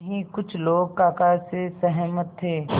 वहीं कुछ लोग काका से सहमत थे